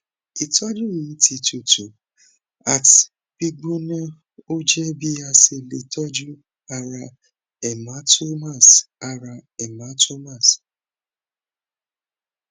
itoju yi ti tutu at gbigbona oje bi ase le toju ara hematomas ara hematomas